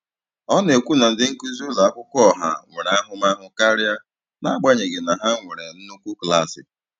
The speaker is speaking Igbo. Ọ na-ekwu na ndị nkuzi ụlọ akwụkwọ ọha nwere ahụmahụ karịa, n'agbanyeghị na ha nwere nnukwu klaasị.